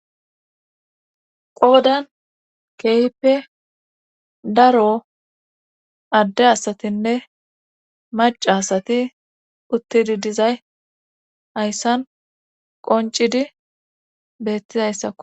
qoodan kehpe daro adde asatinne maca asati uttidi dizay hayssan qoncidi bettizayssakko